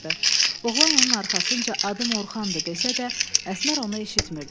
Oğlan onun arxasınca adım Orxandı desə də, Əsmər onu eşitmirdi.